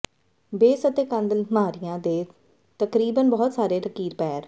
base ਅਤੇ ਕੰਧ ਅਲਮਾਰੀਆਂ ਦੇ ਤਕਰੀਬਨ ਬਹੁਤ ਸਾਰੇ ਲਕੀਰ ਪੈਰ